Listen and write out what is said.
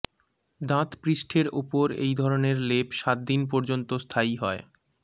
দাঁত পৃষ্ঠের উপর এই ধরনের লেপ সাত দিন পর্যন্ত স্থায়ী হয়